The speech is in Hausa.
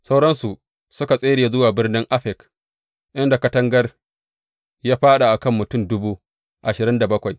Sauransu suka tsere zuwa birnin Afek, inda katangar ya fāɗa a kan mutum dubu ashirin da bakwai.